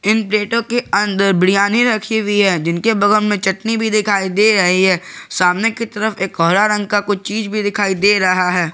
इन प्लेटों के अंदर बिडयानी रखी हुई है जिनके बगल में चटनी भी दिखाई दे रही है सामने की तरफ एक हरा रंग का कुछ चीज भी दिखाई दे रहा है।